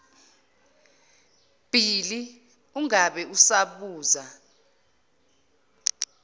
bhili ungabe usabuza